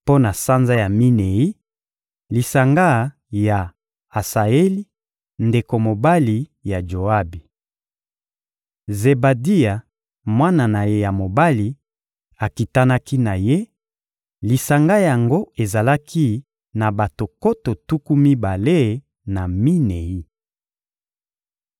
Mpo na sanza ya minei: lisanga ya Asaeli, ndeko mobali ya Joabi. Zebadia, mwana na ye ya mobali, akitanaki na ye; lisanga yango ezalaki na bato nkoto tuku mibale na minei.